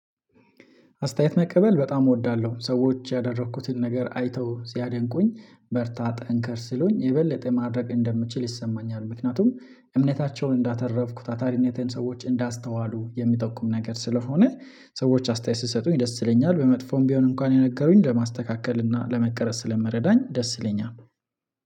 አስተያየት መቀበል በጣም እወዳለሁ ሰዎች ያደረኩትን ነገር አይተው ሲያደንቁኝ በርታ ጠንከር ሲሎኝ የበለጠ ማድረግ እንደምችል ይሰማኛል። ምክንያቱም እምነታቸውን እንዳተረፍኩ ታታሪነቴን ሰዎች እንዳስተዋሉ የሚጠቁም ነገር ስለሆነ። ሰዎች አስተያየት ሲሰጡኝ ደስ ይለኛል በመጥፎም ቢሆን እንኳን የነገሩኝ ለማስተካከል እና ለመቀረጽ ስለሚረዳኝ ደስ ይለኛል።